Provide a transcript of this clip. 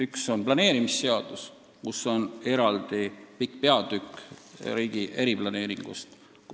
Üks on planeerimisseadus, kus on eraldi pikk peatükk riigi eriplaneeringust.